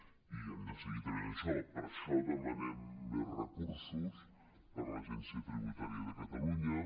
i hem de seguir treballant això per això demanem més recursos per a l’agència tributària de catalunya